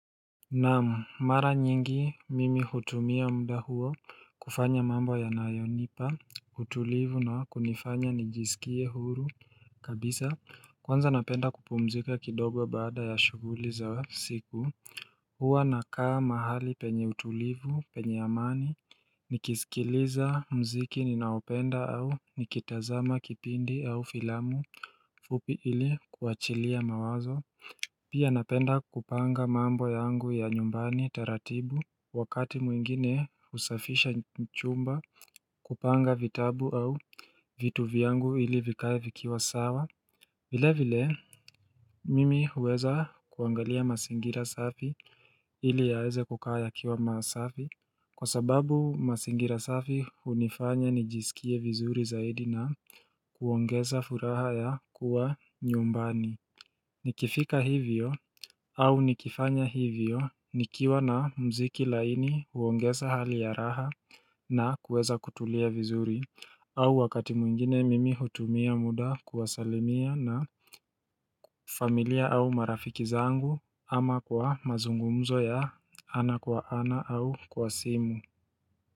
Naam mara nyingi mimi hutumia mda huo kufanya mambo ya nayonipa utulivu na kunifanya nijisikie huru kabisa kwanza napenda kupumzika kidogo baada ya shughuli za siku hua nakaa mahali penye utulivu penye amani nikizikiliza mziki ninaopenda au nikitazama kipindi au filamu fupi ili kuachilia mawazo Pia napenda kupanga mambo yangu ya nyumbani taratibu wakati muingine usafisha chumba kupanga vitabu au vitu vyangu ili vikae vikiwa sawa. Vile vile, mimi uweza kuangalia masingira safi ili yaeze kukaya kiwa masafi kwa sababu masingira safi unifanya nijisikie vizuri zaidi na kuongeza furaha ya kuwa nyumbani. Nikifika hivyo au nikifanya hivyo nikiwa na mziki laini uongesa hali ya raha na kuweza kutulia vizuri au wakati mwingine mimi hutumia muda kuwasalimia na familia au marafiki zangu ama kwa mazungumzo ya ana kwa ana au kwa simu.